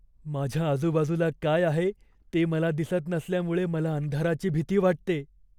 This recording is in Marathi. माझ्या आजूबाजूला काय आहे ते मला दिसत नसल्यामुळे मला अंधाराची भीती वाटते.